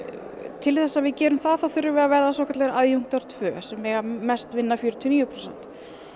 til þess að við gerum það þá þurfum við að verða svokallaðir tvö sem mega mest vinna fjörutíu og níu prósent